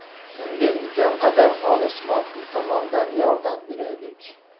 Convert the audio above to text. Unga imkon qadar xolis moddiy tomondan yordam beraylik!